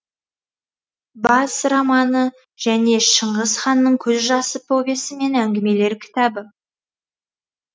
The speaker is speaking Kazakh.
бас романы және шыңғыс ханның көз жасы повесі мен әңгімелер кітабы